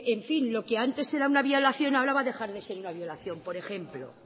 lo que antes era una violación ahora va a dejar de ser una violación por ejemplo